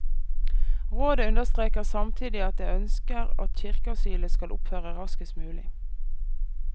Rådet understreker samtidig at det ønsker at kirkeasylet skal opphøre raskest mulig.